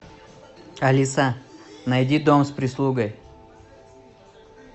алиса найди дом с прислугой